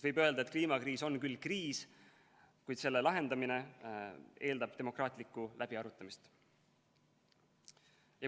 Võib öelda, et kliimakriis on küll kriis, kuid selle lahendamine eeldab demokraatlikku läbiarutamist.